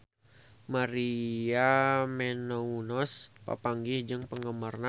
Maria Menounos papanggih jeung penggemarna